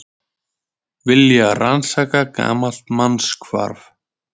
Vilja rannsaka gamalt mannshvarf